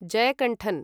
Jayakanthan